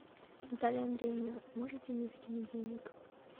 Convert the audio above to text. наталья андреевна можете мне закинуть денег